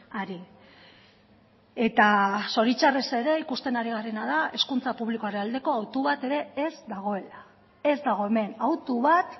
ari eta zoritxarrez ere ikusten ari garena da hezkuntza publikoaren aldeko autu bat ere ez dagoela ez dago hemen autu bat